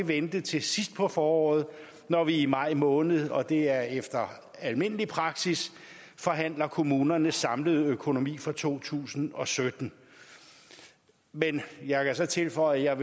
vente til sidst på foråret når vi i maj måned og det er efter almindelig praksis forhandler kommunernes samlede økonomi for to tusind og sytten men jeg kan så tilføje at